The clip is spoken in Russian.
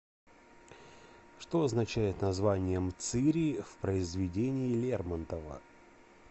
что означает название мцыри в произведении лермонтова